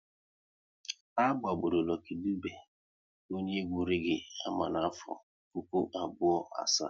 A gbagburu Lucky Dube, onye egwu reege ama n'afọ puku abụọ asaa